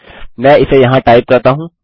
मैं इसे यहाँ टाइप करता हूँ